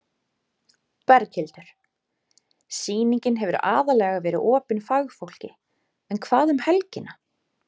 Berghildur: Sýningin hefur aðallega verið opin fagfólki en hvað um helgina?